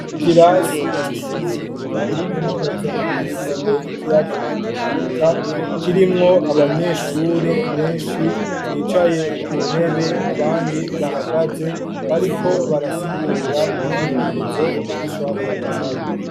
Ikirasi c'ishure rya kaminuza ryitiriwe ikiyaga Tanganyika, kirimwo abanyeshure benshi, bicaye ku ntebe abandi bahagaze, bariko barasigura umwimenyerezo umwigisha wabo yabahaye.